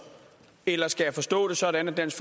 eller skal jeg forstå det sådan at dansk